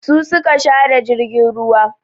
Su su ka share jirgin ruwa.